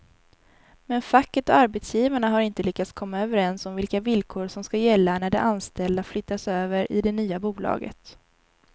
Men facket och arbetsgivarna har inte lyckats komma överens om vilka villkor som ska gälla när de anställda flyttas över i det nya bolaget.